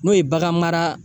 N'o ye bagan mara